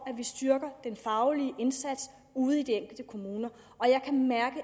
at vi styrker den faglige indsats ude i de enkelte kommuner jeg kan mærke